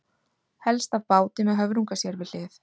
Helst af báti, með höfrunga sér við hlið.